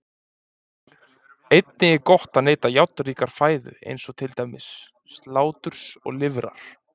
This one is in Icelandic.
Einnig er gott að neyta járnríkrar fæðu eins og til dæmis sláturs og lifrar.